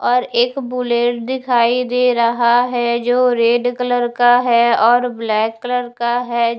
और एक बुलेट दिखाई दे रहा है जो रेड कलर का है और ब्लैक कलर का हैं।